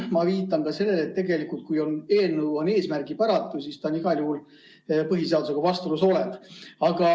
Ma viitan ka sellele, et kui eelnõu on eesmärgipäratu, siis ta on igal juhul põhiseadusega vastuolus olev.